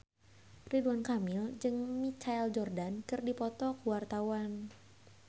Ridwan Kamil jeung Michael Jordan keur dipoto ku wartawan